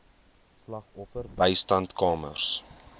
slagoffer bystandskamers